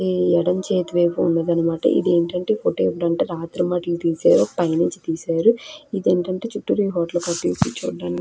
ఈ ఎడమ చేతి వైపు ఉన్నదన్నమాట. ఇది ఏంటంటే రాత్రి మట్లు తీసేయరు పైనుంచి తీసేయరు. ఇది ఏంటంటే చుట్టూరు ఈ హోటల్ కి వచ్చి కూర్చోవడానికి.